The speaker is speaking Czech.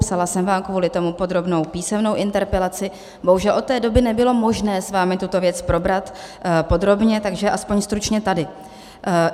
Psala jsem vám kvůli tomu podrobnou písemnou interpelaci, bohužel od té doby nebylo možné s vámi tuto věc probrat podrobně, takže aspoň stručně tady.